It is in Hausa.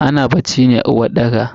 Ana bacci ne a uwarɗaka.